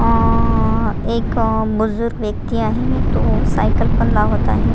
अ एक बुजुर्ग व्यक्ती आहे तो सायकल पण लावत आहे.